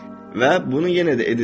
Və bunu yenə də edəcəksən.